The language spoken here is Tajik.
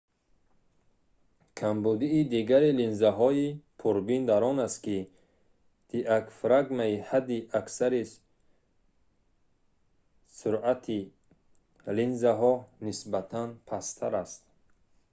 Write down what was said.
камбудии дигари линзаҳои пурбин дар он аст ки диагфрагмаи ҳадди аксари суръат-и линзаҳо нисбатан пасттар аст